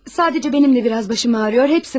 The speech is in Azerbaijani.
Sadəcə mənimlə biraz başım ağrıyor, hepsi bu.